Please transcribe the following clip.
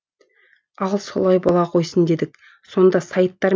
ал солай бола қойсын делік сонда сайттар